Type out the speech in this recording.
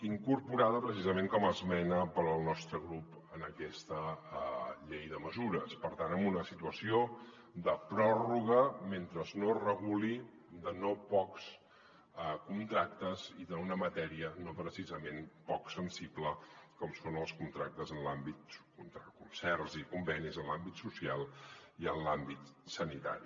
incorporada precisament com a esmena pel nostre grup en aquesta llei de mesures per tant en una situació de pròrroga mentre no es reguli de no pocs contractes i d’una matèria no precisament poc sensible com són els concerts i convenis en l’àmbit social i en l’àmbit sanitari